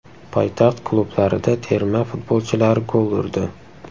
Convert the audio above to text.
Poytaxt klublarida terma futbolchilari gol urdi.